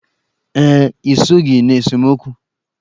Ee, I soghi n'esemokwu.